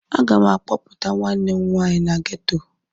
A ga m a kpọpụta nwanne m nwanyị na ghetọ.